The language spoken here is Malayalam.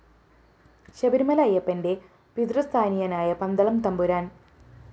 ശബരിമല അയ്യപ്പന്റെ പിതൃസ്ഥാനീയനായ പന്തളം തമ്പുരാന്‍